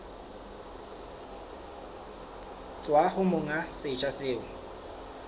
tswa ho monga setsha seo